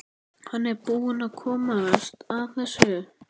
Hann er búinn að komast að þessu.